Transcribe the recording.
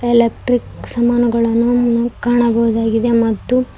electric ಸಾಮಾನುಗಳನ್ನು ನಾವು ಕಾಣಬಹುದಾಗಿದೆ ಮತ್ತು--